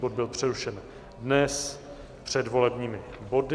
Bod byl přerušen dnes před volebními body.